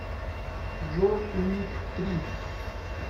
джон уик три